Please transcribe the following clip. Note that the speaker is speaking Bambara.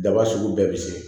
Daba sugu bɛɛ bɛ se